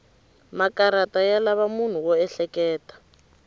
makarata ya lava munhu wo ehleketa